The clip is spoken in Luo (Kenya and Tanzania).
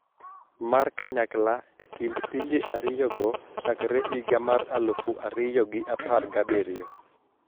Mar kanyakla e kind pinje ariyogo chakre higa mar aluf ariyo gi apar gabiriyo